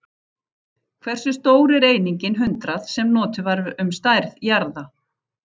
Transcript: Hversu stór er einingin hundrað, sem notuð var um stærð jarða?